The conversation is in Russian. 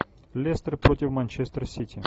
лестер против манчестер сити